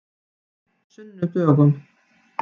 sunnudögunum